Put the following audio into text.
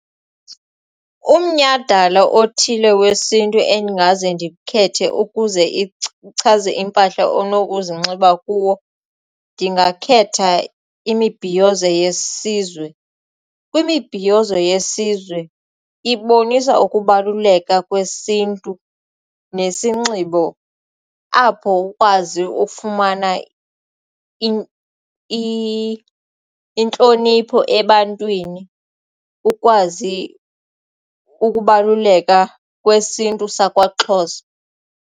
Umnyhadala othile wesiNtu endingaze ndikhethe ukuze ichaze impahla onokuzinxiba kuwo ndingakhetha imibhiyozo yesizwe. Kwimibhiyozo yesizwe ibonisa ukubaluleka kwesiNtu nesinxibo apho ukwazi ufumana intlonipho ebantwini ukwazi ukubaluleka kwesiNtu sakwaXhosa.